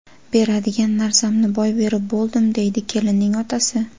Beradigan narsamni boy berib bo‘ldim”, – deydi kelinning otasi.